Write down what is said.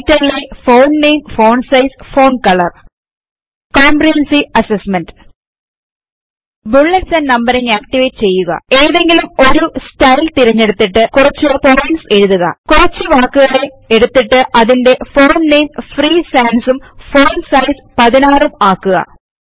റൈറ്റർലെ font name font size font colour comprehensive assignment bullets and numbering activate ചെയ്യുക ഏതെങ്കിലും ഒരു style തിരഞ്ഞെടുത്തിട്ടു കുറച്ചു പോയിന്റ്സ് എഴുതുക കുറച്ചു വാക്കുകള എടുത്തിട്ട് അതിന്റെ ഫോണ്ട് നെയിംFree സാൻസ് ഉം ഫോണ്ട് സൈസ്16 ഉം ആക്കുക